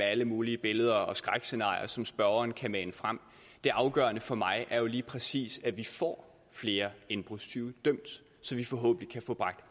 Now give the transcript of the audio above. alle mulige billeder og skrækscenarier som spørgeren kan mane frem det afgørende for mig er jo lige præcis at vi får flere indbrudstyve dømt så vi forhåbentlig kan få bragt